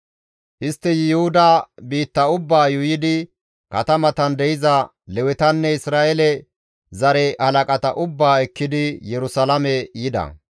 Istti Yuhuda biitta ubbaa yuuyidi katamatan de7iza Lewetanne Isra7eele zare halaqata ubbaa ekkidi Yerusalaame yida.